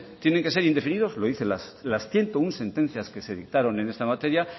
tienen que ser indefinidos lo dice las ciento uno sentencias que se dictaron en esta materia